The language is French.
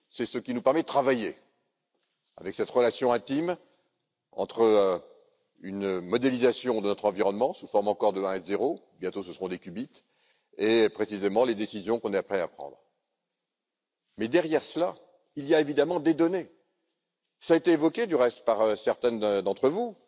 c'est ce qui nous permet de travailler, avec cette relation intime entre une modélisation de notre environnement sous forme encore de 1 et de 0 et, précisément, les décisions qu'on est prêt à prendre. Mais derrière cela, il y a évidemment des données cela a été évoqué, du reste, par certaines d'entre vous,